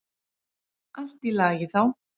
Allt í lagi þá.